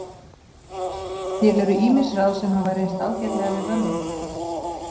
Til eru ýmis ráð sem hafa reynst ágætlega við vöðvabólgu.